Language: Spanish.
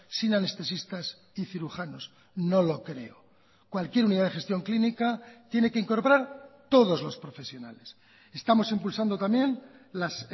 sin anestesistas y cirujanos no lo creo cualquier unidad de gestión clínica tiene que incorporar todos los profesionales estamos impulsando también las